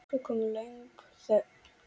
Svo kom löng þögn.